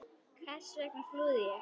Hvers vegna flúði ég?